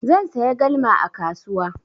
Zan saya galma a kasuwa.